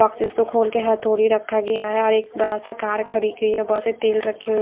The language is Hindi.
ऑफिस को खोल के हथौड़ी रखा गया है और एक बड़ा सा कार खड़ी की है वैसे तेल रखी हुई--